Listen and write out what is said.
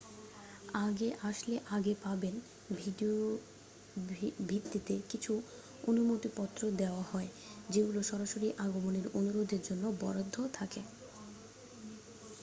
আগে আসলে আগে পাবেন ভিত্তিতে কিছু অনুমতিপত্র দেয়া হয় যেগুলো সরাসরি আগমনের অনুরোধের জন্য বরাদ্দ থাকে